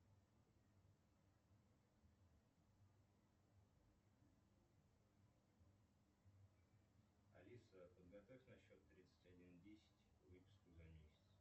алиса подготовь на счет тридцать один десять выписку за месяц